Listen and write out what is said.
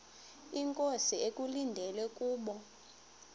inkosi ekulindele kubo